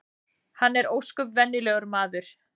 Hann er ósköp venjulegur maður